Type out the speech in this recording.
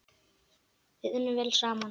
Við unnum vel saman.